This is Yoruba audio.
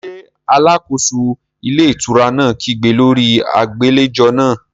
Ṣé alákóso ilé ìtura náà kígbe lórí agbàlejò náà?